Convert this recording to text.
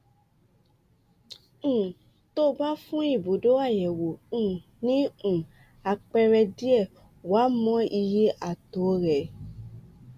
um tó o bá fún ibùdó àyẹwò um ní um àpẹẹrẹ díẹ wàá mọ iye ààtẹọ rẹ